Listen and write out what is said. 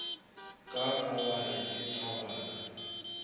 kaaka wa re ke tabana